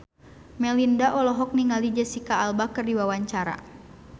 Melinda olohok ningali Jesicca Alba keur diwawancara